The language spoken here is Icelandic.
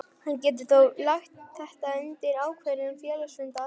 Hann getur þó lagt þetta undir ákvörðun félagsfundar.